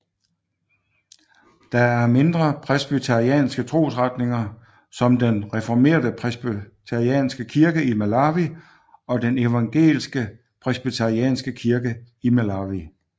Der er mindre presbyterianske trosretninger som den reformerte Presbyterianske Kirke i Malawi og den evangelske Presbyterianske Kirke i Malawi